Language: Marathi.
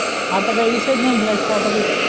आता काही विषयच नाही लाईटचा आता काही